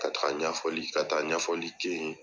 Ka taga ɲɛfɔli , ka taa ɲɛfɔli kɛ yen